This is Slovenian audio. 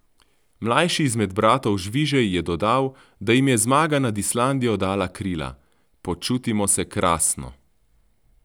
Mlajši izmed bratov Žvižej je dodal, da jim je zmaga nad Islandijo dala krila: "Počutimo se krasno.